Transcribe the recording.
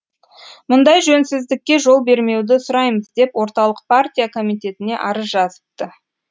мұндай жөнсіздікке жол бермеуді сұраймыз деп орталық партия комитетіне арыз жазыпты